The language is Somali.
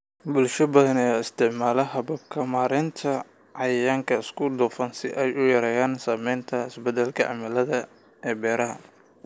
Bulsho badan ayaa isticmaalaya hababka maaraynta cayayaanka isku dhafan si ay u yareeyaan saamaynta isbeddelka cimilada ee beeraha.